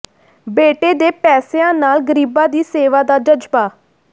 ਬੇਟੇ ਦੇ ਪੈਸਿਆਂ ਨਾਲ ਗ਼ਰੀਬਾਂ ਦੀ ਸੇਵਾ ਦਾ ਜਜ਼ਬਾ